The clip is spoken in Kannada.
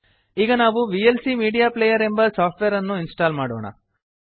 ಈಗ ನಾವು ವಿಎಲ್ಸಿ ಮೀಡಿಯಾ ಪ್ಲೇಯರ್ ಎಂಬ ಸಾಫ್ಟ್ವೇರ್ ಅನ್ನು ಇನ್ಸ್ಟಾಲ್ ಮಾಡೋಣ